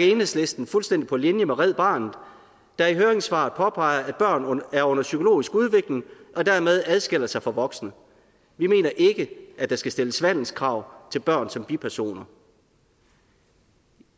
enhedslisten fuldstændig på linje med red barnet der i høringssvaret påpeger at børn er under psykologisk udvikling og dermed adskiller sig fra voksne vi mener ikke at der skal stilles vandelskrav til børn som bipersoner